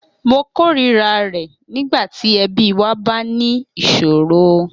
Mo kórìíra rẹ̀ nígbà tí ẹbí wa bá ní ìṣòro.